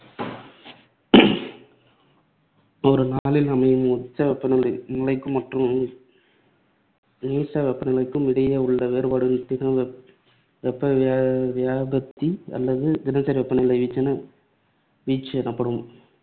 ஒரு நாளில் அமையும் உச்ச வெப்பநிலை வெப்பநிலைக்கும் மற்றும் நீச்சவெப்பநிலைக்கும் இடையேயுள்ள வேறுபாடு தின வெப்பவியா~ வெப்பவியாபத்தி அல்லது தினசரி வெப்பநிலை வீச்சு வீச்சு எனப்படும்.